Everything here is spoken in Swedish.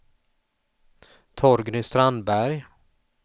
Torgny Strandberg